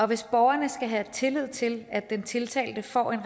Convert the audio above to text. hvis borgerne skal have tillid til at den tiltalte får en